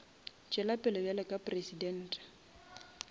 tšwela pele bjalo ka presidente